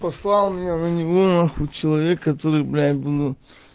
послал меня на него на хуй человек который бля думаю